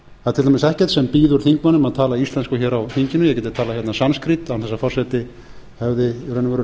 til dæmis ekkert sem býður þingmönnum að tala íslensku hér á þinginu ég gæti talað hérna sanskrít án